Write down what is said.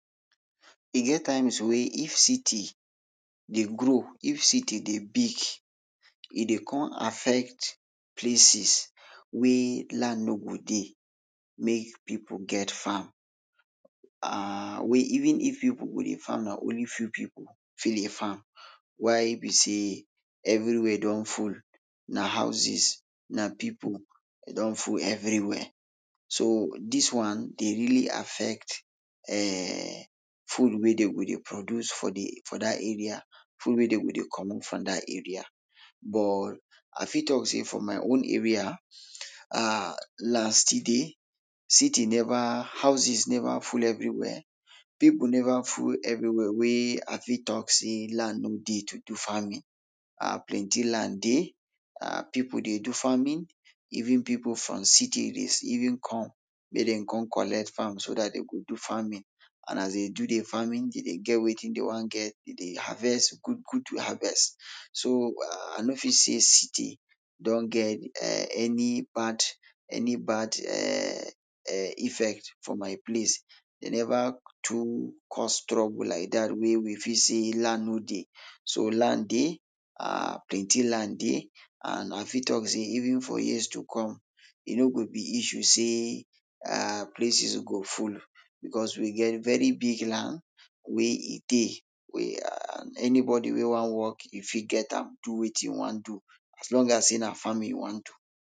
E get times wey if city dey grow, if city dey big e dey come affect places wey land no go dey make pipul get farm. um wey even if pipul dey farm na only few pipul fit dey farm, why be sey everywia don full, na houses, na pipul e don full everywia. So dis one de really affect um food wey dey go dey produce for de, for dat area, food wey de go dey comot for dat area. But, ah fit talk sey for my own area, um last, city never, houses neva full everywia, pipul neva full everywia wey ah fit talk sey land no dey to do farming, um plenti land dey, um pipul dey do farming, even pipul from cities dey even come, make dem come collect farm so dat dey go do farming, and as dey dey do dey farming dey dey get wetin dey wan get, dey dey harvest good good harvest. So um ah no fit sey city don get um any bad, any bad um effect for my place, dey never too cause trouble like dat wey we fit sey land no dey, so land dey um plenti land dey and ah fit talk sey even for years to come e no go be issue sey um places go full becos we get very big land wey e dey, wey um anybodi wey wan work e fit get am do wetin e wan do as long as sey na farming you wan do.